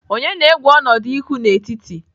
Onye na-egwu ọnọdụ ihu n'etiti?